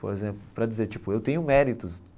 Por exemplo, para dizer, tipo, eu tenho méritos.